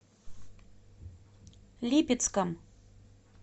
липецком